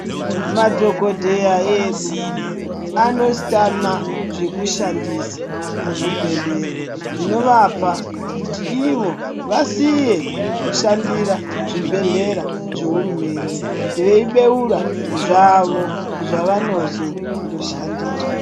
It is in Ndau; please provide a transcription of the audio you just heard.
Madhokodheya edu anositama zvekushandisa muzvibhedhleya zvinovapa kuti ivo vasiye kushandira zvibhedhlera zvehurumende veibeura zvavo zvavanozondo shandira.